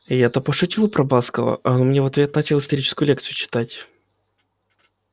я-то пошутил про баскова а он мне в ответ начал историческую лекцию читать